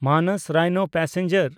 ᱢᱟᱱᱚᱥ ᱨᱟᱭᱱᱳ ᱯᱮᱥᱮᱧᱡᱟᱨ